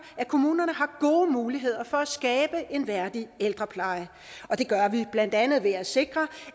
at kommunerne har gode muligheder for at skabe en værdig ældrepleje og det gør vi blandt andet ved at sikre